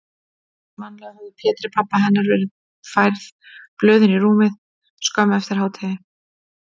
Einsog vanalega höfðu Pétri, pabba hennar, verið færð blöðin í rúmið skömmu eftir hádegið.